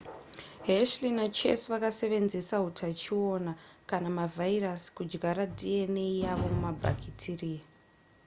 hershey nachase vakasevenzesa hutachiona kana mavhairasi kudyara dna yavo mumabhakitiriya